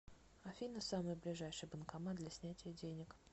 афина самый ближайший банкомат для снятия денег